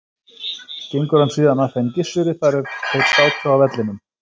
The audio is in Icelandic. Gengur hann síðan að þeim Gissuri þar er þeir sátu á vellinum.